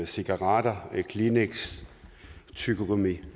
cigaretter kleenex tyggegummi